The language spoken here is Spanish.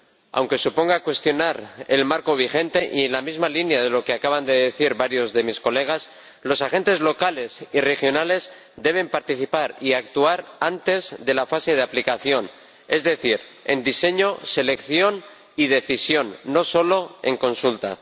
Aunque suponga cuestionar el marco vigente y, en la misma línea de lo que acaban de decir varios diputados, los agentes locales y regionales deben participar y actuar antes de la fase de aplicación, es decir, en el diseño, la selección y la decisión, no solo en la consulta.